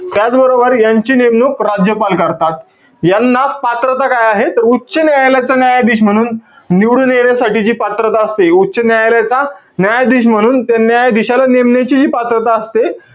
त्याचबरोबर, यांची नेमणूक राज्यपाल करतात. यांना, पात्रता काय आहे? उच्च न्यायालयाचा न्यायाधीश म्हणून निवडून येण्यासाठी जी पात्रता असते, उच्च न्यायालयाचा न्यायाधीश म्हणून ते न्यायाधीशाला नेमण्याची जी पात्रता असते,